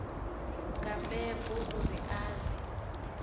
nga mbebo uri a vhe